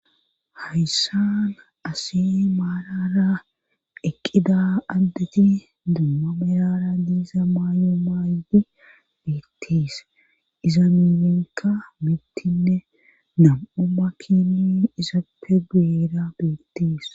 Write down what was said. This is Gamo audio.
Hayssan asi maarara eqqida addeti duuma merara diiza maayo maaydi beetties iza milenka mittinne nam'uma kini isappe guera beetties.